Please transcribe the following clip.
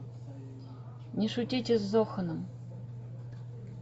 не шутите с зоханом